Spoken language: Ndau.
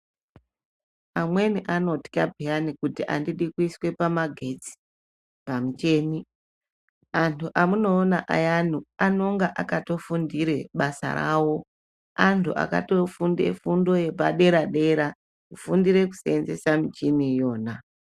Amweni anotya peyani kuti andidi kuiswe pamagetsi pamucheni anhu amunoona ayani anonga akatofundire basa rawo anhu akatofunde fundo yepadera-dera kufundire kuseenzesa michini iyona.